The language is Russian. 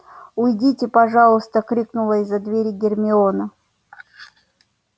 уйдите пожалуйста крикнула из-за двери гермиона